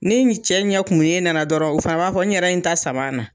Ni ni cɛ ɲɛ kumunnen nana dɔrɔn, o fana b'a fɔ n ɲɛrɛ ye n ta sama na